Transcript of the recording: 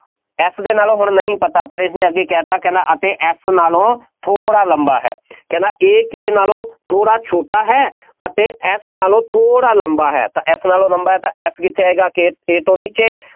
F ਦੇ ਨਾਲੋੋਂ ਹੁਣ ਨਹੀਂ ਪਤਾ, ਪਰ ਇਹਨੇ ਅੱਗੇ ਕਹਿ ਦਿੱਤਾ ਕਹਿੰਦਾ ਅਤੇ F ਨਾਲੋਂ ਥੋੜ੍ਹਾ ਲੰਬਾ ਹੈ, ਕਹਿੰਦਾ A ਨਾਲੋਂ ਥੋੜ੍ਹਾ ਛੋਟਾ ਹੈ ਅਤੇ F ਨਾਲੋਂ ਥੋੜ੍ਹਾ ਲੰਬਾ ਹੈ, ਤਾਂ F ਨਾਲੋਂ ਲੰਬਾ ਹੈ ਤਾਂ F ਕਿੱਥੇ ਆਏਗਾ K ਤੋਂ ਨੀਚੇ,